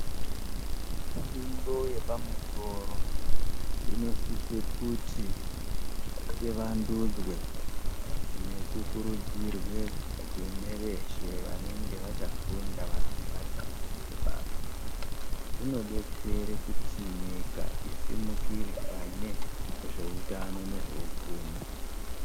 Fundo yepamusoro inosisa kuti ivandudzwe nekukurudzirwa kune veshe vanonge vachafunda vanenge vari pafundo yebasa inodetsere kuti isimukire pane zveutano nezveupfumi .